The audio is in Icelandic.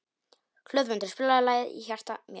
Hlöðmundur, spilaðu lagið „Í hjarta mér“.